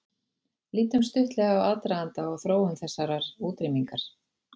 Lítum stuttlega á aðdraganda og þróun þessarar útrýmingar.